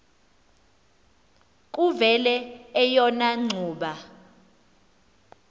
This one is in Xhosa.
kuvele eyona ngxuba